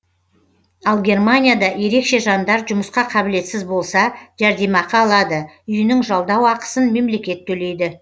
ал германияда ерекше жандар жұмысқа қабілетсіз болса жәрдемақы алады үйінің жалдау ақысын мемлекет төлейді